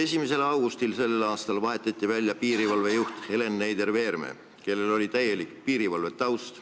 1. augustil sellel aastal vahetati välja piirivalve juht Helen Neider-Veerme, kellel oli täielik piirivalvetaust.